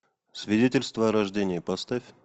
свидетельство о рождении поставь